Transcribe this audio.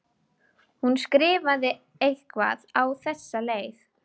Hún skrifar eitthvað á þessa leið: